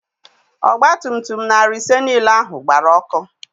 Ọgba tum tum narị ise niile ahụ gbara ọkụ.